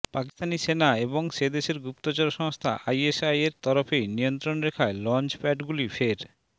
পাকিস্তানি সেনা এবং সে দেশের গুপ্তচর সংস্থা আইএসআইয়ের তরফেই নিয়ন্ত্রণরেখায় লঞ্চপ্যাডগুলি ফের